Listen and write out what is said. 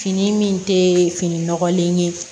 Fini min tɛ fini nɔgɔlen ye